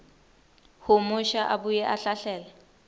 humusha abuye ahlahlele